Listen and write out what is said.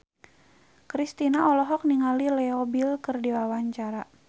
Kristina olohok ningali Leo Bill keur diwawancara